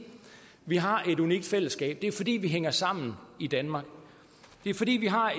vi har et unikt fællesskab det er fordi vi hænger sammen i danmark det er fordi vi har